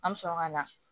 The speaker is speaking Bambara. An bɛ sɔrɔ ka na